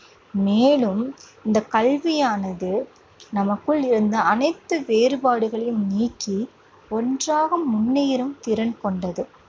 மேலும் இந்தக் கல்வியானது நமக்குள் இருந்த அனைத்து வேறுபாடுகளையும் நீக்கி ஒன்றாக முன்னேறும் திறன் கொண்டது.